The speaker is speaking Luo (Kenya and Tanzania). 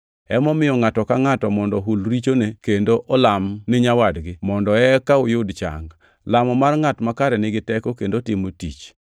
Emomiyo ngʼato ka ngʼato mondo ohul richone kendo olam ni nyawadgi, mondo eka uyud chang. Lamo mar ngʼat makare nigi teko kendo timo tich.